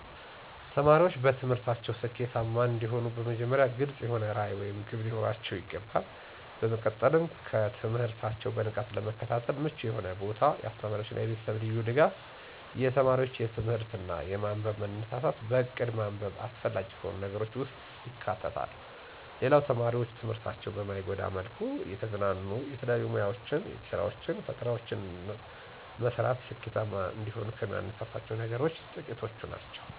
ተማሪዎች በትምህርታቸው ስኬታማ እንዲሆኑ በመጀመሪያ ግልፅ የሆነ ራዕይ ወይም ግብ ሊኖራቸው ይገባል። በመቀጠልም ትምህርታቸውን በንቃት ለመከታተል ምቹ የሆነ ቦታ፣ የአስተማሪዎች እና የቤተሰብ ልዩ ድጋፍ፣ የተማሪው ለትምህርት እና ለማንበብ መነሳሳት፣ በእቅድ ማንበብ አስፈላጊ ከሆኑ ነገሮች ውስጥ ይካተታሉ። ሌላው ተማሪዎች ትምህርታቸውን በማይጎዳ መልኩ እየተዝናኑ የተለያዩ ሙያወችን፣ የእጅ ስራወችን፣ ፈጠራወችን መስራት ስኬታማ እንደሆኑ ከሚያነሳሳቸው ነገሮች ጥቂቶቹ ናቸው።